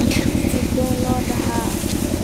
Sidhi loodehe.